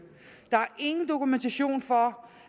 der er ingen dokumentation for